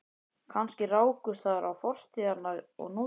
Kannski rákust þar á fortíð hennar og nútíð.